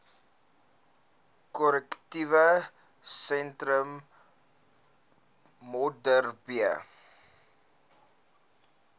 korrektiewe sentrum modderbee